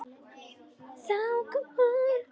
Þá kom hún.